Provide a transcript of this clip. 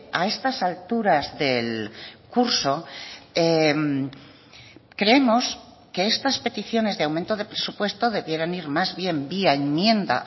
a estas alturas del curso creemos que estas peticiones de aumento de presupuesto debieran ir más bien vía enmienda